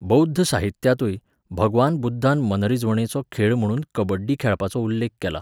बौध्द साहित्यांतूय भगवान बुध्दान मनरिजवणेचो खेळ म्हणून कबड्डी खेळपाचो उल्लेख केला.